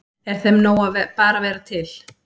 Er þeim nóg að vera bara til?